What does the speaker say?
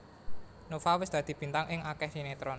Nova wis dadi bintang ing akeh sinetron